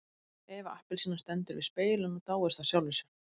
Eva appelsína stendur við spegilinn og dáist að sjálfri sér.